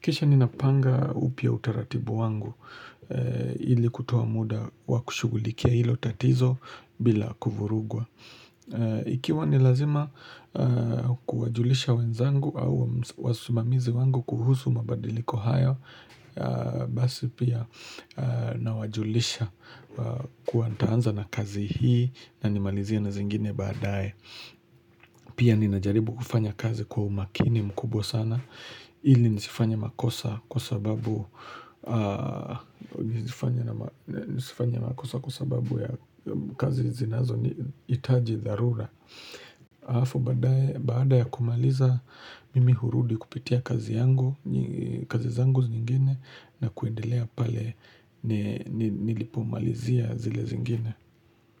Kisha ninapanga upya utaratibu wangu ili kutoa muda wakushugulikia hilo tatizo bila kuvurugwa. Ikiwa ni lazima kuwajulisha wenzangu au wasimamizi wangu kuhusu mabadiliko haya basi pia nawajulisha kuwa nitaanza na kazi hii na nimalizie na zingine baadaye. Pia ninajaribu kufanya kazi kwa umakini mkubwa sana ili nisifanye makosa kwa sababu Nisifanye makosa kwa sababu ya kazi zinazohitaji dharura Alafu baadaye baada ya kumaliza mimi hurudi kupitia kazi yangu kazi zangu zingine na kuendelea pale nilipomalizia zile zingine.